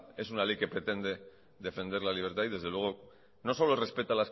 esta es una ley que pretende defender la libertad y desde luego no solo respeta